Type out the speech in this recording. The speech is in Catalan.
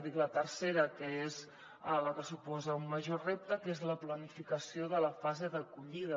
la tercera que és la que suposa un major repte és la planificació de la fase d’acollida